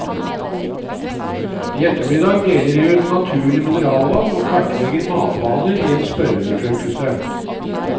I ettermiddag deler de ut naturlig mineralvann og kartlegger matvaner i en spørreundersøkelse.